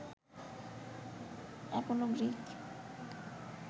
Apollo Greek